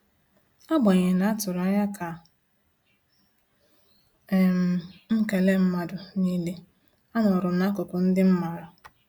Agbanyeghi na-atụrụ anya ka um m kele mmadụ niile,a nọrọm n'akụkụ ndị m maara